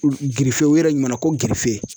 u yɛrɛ ɲuman na ko .